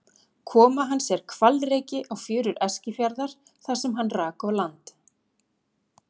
Koma hans er hvalreki á fjörur Eskifjarðar þar sem hann rak á land.